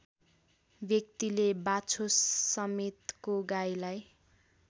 व्यक्तिले बाछोसमेतको गाईलाई